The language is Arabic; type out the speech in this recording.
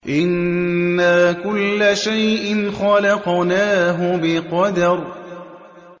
إِنَّا كُلَّ شَيْءٍ خَلَقْنَاهُ بِقَدَرٍ